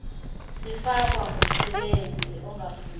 sifakwa ngumsebenzi ongafundile